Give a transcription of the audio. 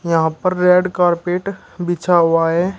यहां पर red carpet बिछा हुआ है।